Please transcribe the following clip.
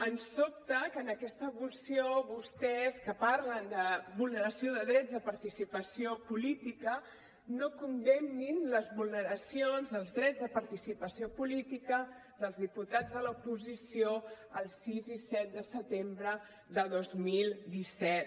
em sobta que en aquesta moció vostès que parlen de vulneració de drets de participació política no condemnin les vulneracions dels drets de participació política dels diputats de l’oposició el sis i set de setembre de dos mil disset